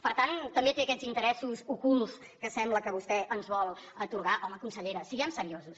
per tant també té aquests interessos ocults que sembla que vostè ens vol atorgar home consellera siguem seriosos